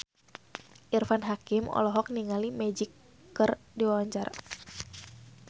Irfan Hakim olohok ningali Magic keur diwawancara